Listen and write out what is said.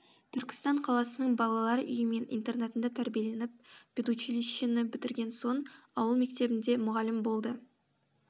түркістан қаласының балалар үйі мен интернатында тәрбиеленіп педучилищені бітірген соң ауыл мектебінде мұғалім болды